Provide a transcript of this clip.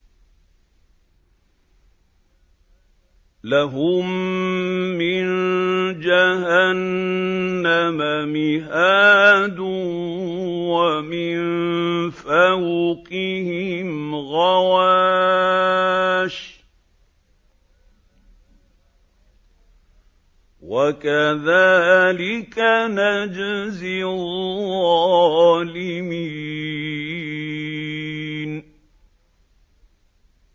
لَهُم مِّن جَهَنَّمَ مِهَادٌ وَمِن فَوْقِهِمْ غَوَاشٍ ۚ وَكَذَٰلِكَ نَجْزِي الظَّالِمِينَ